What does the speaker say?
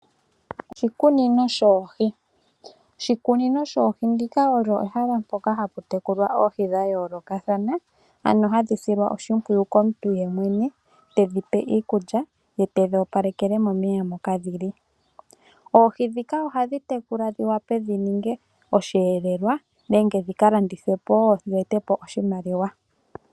Oshikunino shoohi, oshikunino shoohi ndika olyo ehala ndyoka hapu tekulilwa oohi dhayookathana ano hadhi silwa oshimpwiyu komuntu yemwena, tedhipe iikulya ye tedhoopalekele momeya moka dhili. Oohi ndhika ohadhi tekulwa dhi wape dhi ninge osheelelwa nenge dhikalandithwepo dhe tepo oshimaliwa.